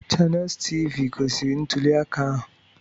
Chaneels Tiivii gosiri ntuli aka ahụ.